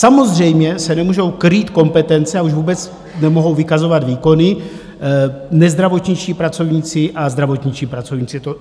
Samozřejmě se nemůžou krýt kompetence a už vůbec nemohou vykazovat výkony - nezdravotničtí pracovníci a zdravotničtí pracovníci.